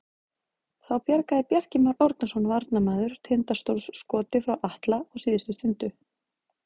Þá bjargaði Bjarki Már Árnason varnarmaður Tindastóls skoti frá Atla á síðustu stundu.